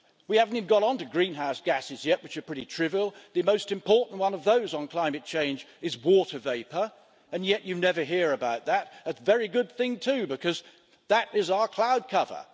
We haven't even got on to greenhouse gases yet, which are pretty trivial the most important one of those for climate change is water vapour, and yet you never hear about that, and a very good thing too, because that is our cloud cover.